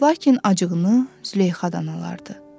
Lakin acığını Züleyxadan alırdı.